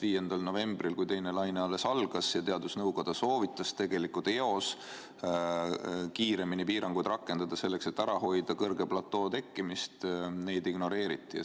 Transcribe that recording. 5. novembril, kui teine laine alles algas ja teadusnõukoda soovitas juba eos kiiremini piiranguid rakendada, selleks et ära hoida kõrge platoo tekkimist, neid ignoreeriti.